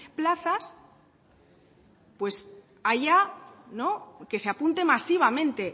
plazas pues que se apunte masivamente